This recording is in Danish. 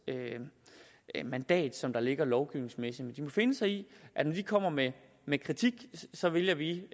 mandat som der ligger lovgivningsmæssigt de må finde sig i at når de kommer med med kritik så vælger vi